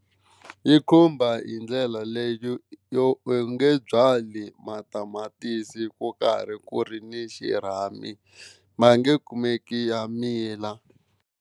Yi khumba hi ndlela leyo yo u nge byali matamatisi ku karhi ku ri ni xirhami, ma nge kumeki ya mila.